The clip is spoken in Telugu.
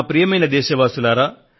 ప్రియమైన నా దేశ వాసులారా